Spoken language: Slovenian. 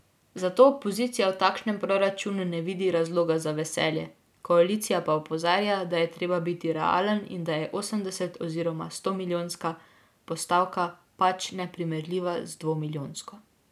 Zato opozicija v takšnem proračunu ne vidi razloga za veselje, koalicija pa opozarja, da je treba biti realen in da je osemdeset oziroma stomilijonska postavka pač neprimerljiva z dvomilijonsko.